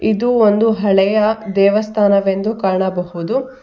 ಇದು ಒಂದು ಹಳೆಯ ದೇವಸ್ಥಾನವೆಂದು ಕಾಣಬಹುದು.